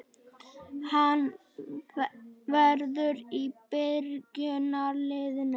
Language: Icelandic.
Hann verður í byrjunarliðinu